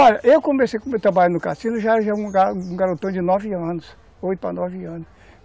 Olha, eu comecei a trabalhar no cassino já já era um garotão de nove anos, oito para nove anos.